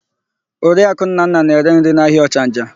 Oriaku Nnanna na-ere nri n'ahịa Ọchanja.